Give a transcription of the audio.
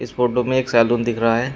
इस फोटो में एक सैलून दिख रहा है।